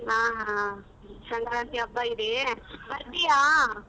ಹ ಹ ಸಂಕ್ರಾಂತಿ ಹಬ್ಬ ಇದೆ, ಬರ್ತೀಯಾ?